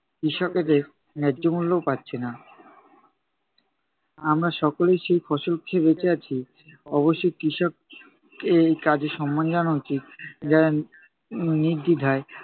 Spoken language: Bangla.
কৃষকদের ন্যায্য মূল্যও পাচ্ছে না। আমরা সকলেই সেই ফসল খেয়ে বেঁচে আছি, অবশ্যই কৃষককে এই কাজের সম্মান জানানো উচিত। নির্দ্বিধায়